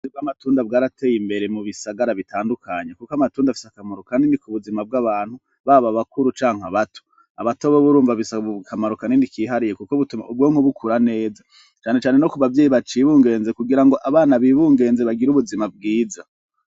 Uburyo bw'amatunda bwarateye imbere mubisagara bitandukanye. Kuko amatunda afise akamaro kanini kubuzima bw'abantu, baba abakuru canke abato. Abato bobo urumva bisaba akamaro kanini kandi kihariye, kuko bituma ubwonko bukura neza. Canecane no kubavyeyi bacibungenze kugirango abana bibungenze bagire ubuzima bwiza.